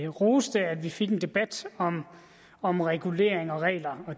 roste at vi fik en debat om om regulering og regler